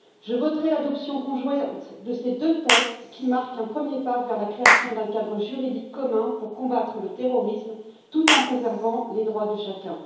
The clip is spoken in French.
Je voterai l'adoption conjointe de ces deux textes qui marquent un premier pas vers la création d'un cadre juridique commun pour combattre le terrorisme, tout en préservant les droits de chacun.